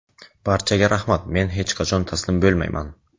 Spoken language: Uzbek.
Barchaga rahmat, men hech qachon taslim bo‘lmayman.